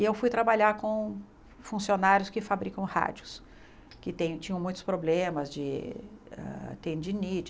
E eu fui trabalhar com funcionários que fabricam rádios, que tinham muitos problemas de ah tendinite